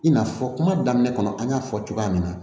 I n'a fɔ kuma daminɛ kɔnɔ an y'a fɔ cogoya min na